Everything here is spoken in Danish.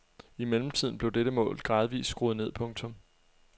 I mellemtiden blev dette mål gradvist skruet ned. punktum